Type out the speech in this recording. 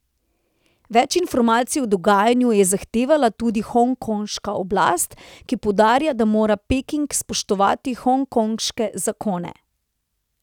Več informacij o dogajanju je zahtevala tudi hongkonška oblast, ki poudarja, da mora Peking spoštovati hongkonške zakone.